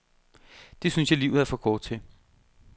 Det synes jeg livet er for kort til.